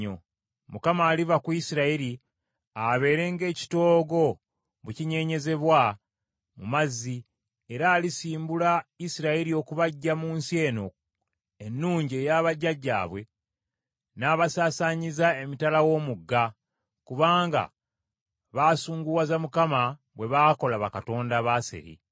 Mukama aliva ku Isirayiri, abeere ng’ekitoogo bwe kinyeenyezebwa mu mazzi, era alisimbula Isirayiri okubaggya mu nsi eno ennungi eya bajjajjaabwe, n’abasaasaanyiza emitala w’Omugga, kubanga baasunguwaza Mukama bwe baakola bakatonda Baaseri.